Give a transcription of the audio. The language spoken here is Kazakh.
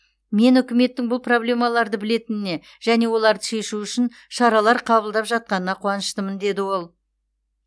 мен үкіметтің бұл проблемаларды білетініне және оларды шешу үшін шаралар қабылдап жатқанына қуаныштымын деді ол